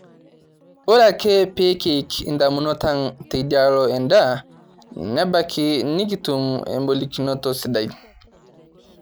Ore ake peekiik indamunot ang' teidialo endaa nebaki nekitum embolikinoto sidai